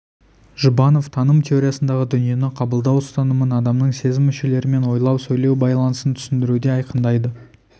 жұбанов таным теориясындағы дүниені қабылдау ұстанымын адамның сезім мүшелері мен ойлау сөйлеу байланысын түсіндіруде айқындайды